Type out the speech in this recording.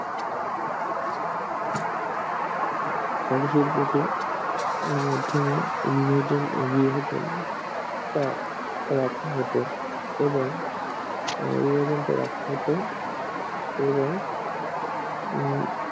মানুষের বুকে মাধ্যমে উন্মোচন বিভাজন তার এবং এবং আহ